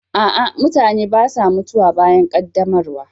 A'a, mutane ba sa mutuwa bayan ƙaddamarwa.